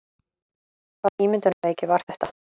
Hvaða ímyndunarveiki var þetta?